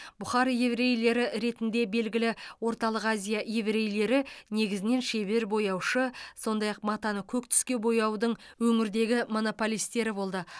бұхар еврейлері ретінде белгілі орталық азия еврейлері негізінен шебер бояушы сондай ақ матаны көк түске бояудың өңірдегі монополистері болды